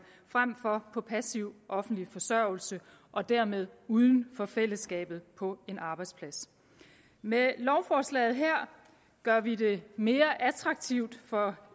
frem for på passiv offentlig forsørgelse og dermed uden for fællesskabet på en arbejdsplads med lovforslaget her gør vi det mere attraktivt for